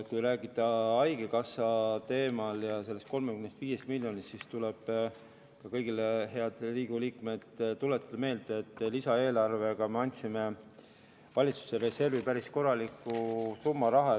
Kui rääkida haigekassa teemal ja sellest 35 miljonist, siis tuleb kõigile, head Riigikogu liikmed, tuletada meelde, et lisaeelarvega me andsime valitsuse reservi päris korraliku rahasumma.